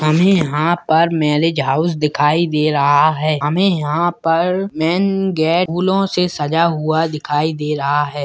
हमें यहाँ पर मैरिज हाउस दिखाई दे रहा है हमें यहाँ पर मैन गेट फूलों से सजा हुआ दिखाई दे रहा है।